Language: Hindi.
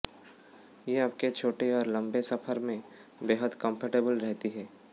ये आपके छोटे और लंबे सफर में बेहद कंफर्टेबल रहती है